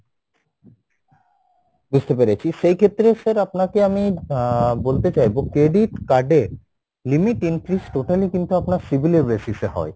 বুঝতে পেরেছি সেই ক্ষেত্রে sir আপনাকে আমি আহ বলতে চাইবো credit card এ limit increase totally কিন্তু আপনার civil এর basis এ হয়,